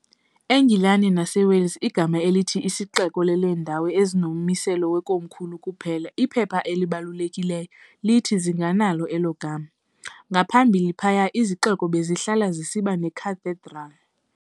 E-Ngilane naseWales, igama elithi i"sixeko" leleendawo ezinommiselo weKomkhulu kuphela, iphepha elibalulekileyo, lithi zinganalo elo gama. ngaphambili phaya, izixeko bezihlala zisiba necathedral.